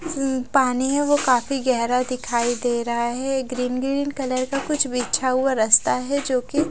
अ पाने वो काफी गहरा दिखाई दे रहा है ग्रीन ग्रीन कलर का कुछ बिछा हुआ रस्ता है जोकि--